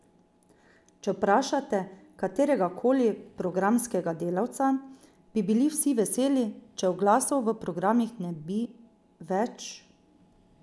Če vprašate kateregakoli programskega delavca, bi bili vsi veseli, če oglasov v programih ne bi več ...